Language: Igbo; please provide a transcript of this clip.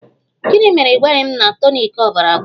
Gịnị mere na ị gwaghị m na tonik ọbara agwụla?